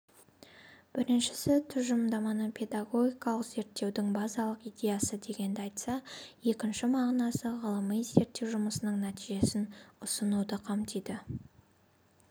біріншісі тұжырымдаманы педагогикалық зерттеудің базалық идеясы дегенді айтса екінші мағынасы ғылыми-зерттеу жұмысының нәтижесін ұсынуды қамтиды